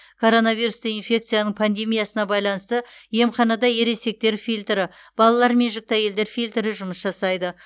коронавирусты инфекцияның пандемиясына байланысты емханада ересектер фильтрі балалар мен жүкті әйелдер фильтрі жұмыс жасайды